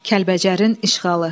Kəlbəcərin işğalı.